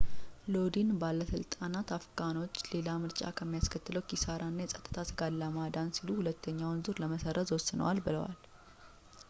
ሎዲን ባለሥልጣናት አፍጋኖችን ሌላ ምርጫ ከሚያስከትለው ኪሳራ እና የፀጥታ ስጋት ለማዳን ሲሉ ሁለተኛውን ዙር ለመሰረዝ ወስነዋል ብለዋል